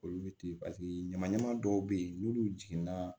Olu bɛ ten paseke ɲama ɲama dɔw bɛ ye n'olu jiginna